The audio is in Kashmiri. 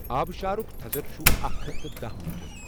آبشارک تھزر چُھ اکھ ہتھ تہٕ داہ میٖٹر۔